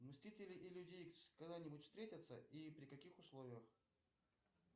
мстители и люди икс когда нибудь встретятся и при каких условиях